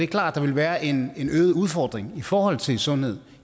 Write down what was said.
klart at der vil være en øget udfordring i forhold til sundhed